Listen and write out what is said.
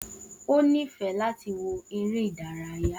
O nifẹ láti wo eré ìdárayá